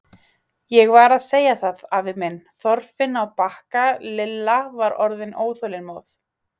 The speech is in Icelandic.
Ég var að segja það, afa minn, Þorfinn á Bakka Lilla var orðin óþolinmóð.